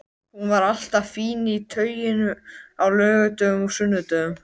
Hún var alltaf fín í tauinu á laugardögum og sunnudögum.